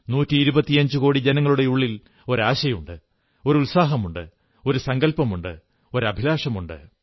നൂറ്റിയിരുപത്തിയഞ്ചുകോടി ജനങ്ങളുടെയുള്ളിൽ ഒരു ആശയുണ്ട് ഒരു ഉത്സാഹമുണ്ട് ഒരു സങ്കല്പമുണ്ട് ഒരു അഭിലാഷമുണ്ട്